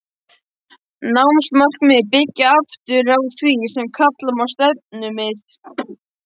Námsmarkmiðin byggja aftur á því sem kalla má stefnumið.